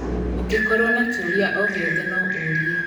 Ũngĩkorũo na kiũria o ciothe, no ũũrie.